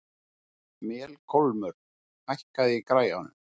Melkólmur, hækkaðu í græjunum.